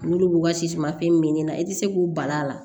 N'olu b'u ka siman fini min na i tɛ se k'u bali a la